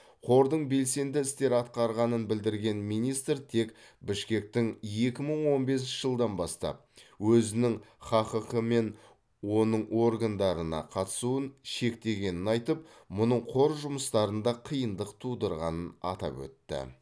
қордың белсенді істер атқарғанын білдірген министр тек бішкектің екі мың он бесінші жылдан бастап өзінің хаққ пен оның органдарына қатысуын шектегенін айтып мұның қор жұмыстарында қиындық тудырғанын атап өтті